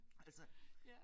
Altså